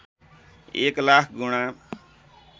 १ लाख गुणा